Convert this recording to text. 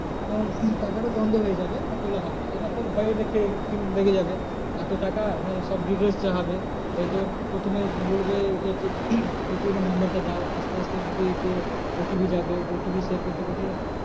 উম টাকাটা বন্ধ হয়ে যাবে আর তোলা হবে না। এবার তোর ভয় লেগে যাবে এত টাকা নিয়ে সব details চাওয়া হবে। এই তোর প্রথমে বলবে ATM এর number টা দাও আস্তে আস্তে দিতে দিতে OTP যাবে OTP share করতে করতে